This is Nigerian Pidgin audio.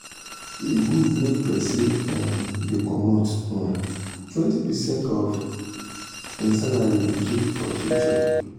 e good make persin um dey commot um 20 percent of um hin salary dey keep for future